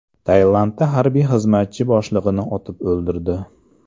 Tailandda harbiy xizmatchi boshlig‘ini otib o‘ldirdi.